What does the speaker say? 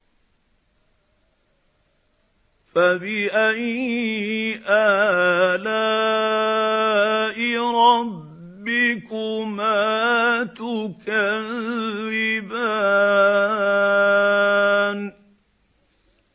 فَبِأَيِّ آلَاءِ رَبِّكُمَا تُكَذِّبَانِ